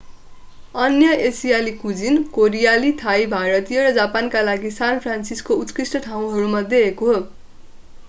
अन्य एसियाली कुजिन कोरियाली थाई भारतीय र जापानीका लागि सान फ्रान्सिस्को उत्कृष्ट ठाउँहरूमध्ये एक हो